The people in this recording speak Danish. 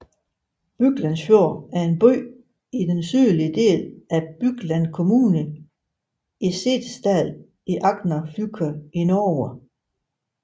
Byglandsfjord er en by i den sydlige del af Bygland kommune i Setesdal i Agder fylke i Norge